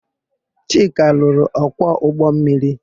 Chika lụrụ ọkwọ ụgbọmmiri.